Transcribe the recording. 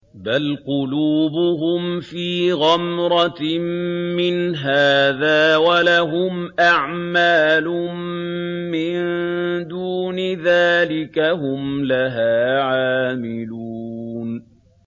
بَلْ قُلُوبُهُمْ فِي غَمْرَةٍ مِّنْ هَٰذَا وَلَهُمْ أَعْمَالٌ مِّن دُونِ ذَٰلِكَ هُمْ لَهَا عَامِلُونَ